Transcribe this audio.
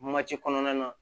kɔnɔna na